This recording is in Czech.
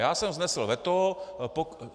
Já jsem vznesl veto.